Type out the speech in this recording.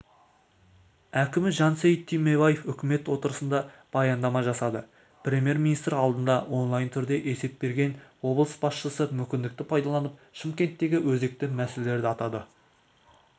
әкімі жансейіт түймебаев үкімет отырысында баяндама жасады премьер-министр алдында онлайн түрде есеп берген облыс басшысы мүмкіндікті пайдаланып шымкенттегі өзекті мәселелерді атады